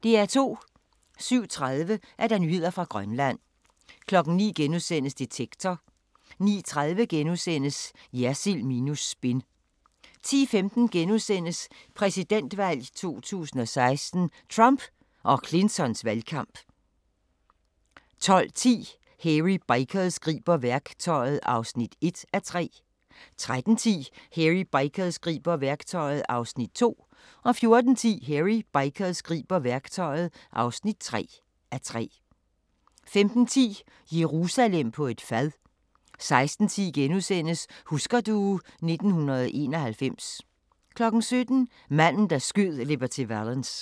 07:30: Nyheder fra Grønland 09:00: Detektor * 09:30: Jersild minus spin * 10:15: Præsidentvalg 2016: Trump og Clintons valgkamp * 12:10: Hairy Bikers griber værktøjet (1:3) 13:10: Hairy Bikers griber værktøjet (2:3) 14:10: Hairy Bikers griber værktøjet (3:3) 15:10: Jerusalem på et fad 16:10: Husker du ... 1991 * 17:00: Manden, der skød Liberty Valance